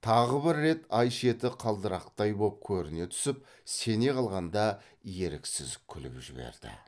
тағы бір рет ай шеті қылдырықтай боп көріне түсіп сене қалғанда еріксіз күліп жіберді